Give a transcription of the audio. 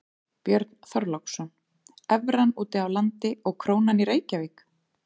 Björn Þorláksson: Evran úti á landi og krónan í Reykjavík?